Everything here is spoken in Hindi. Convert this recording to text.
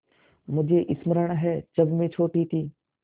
मुझे स्मरण है जब मैं छोटी थी